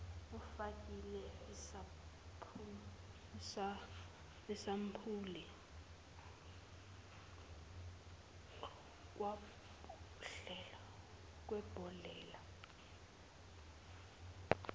ufakele isampuli kwibhodlela